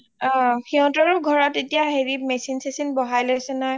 অ সিহতৰ ঘৰত এতিয়া machine শচীন বহাই লৈছে নহয়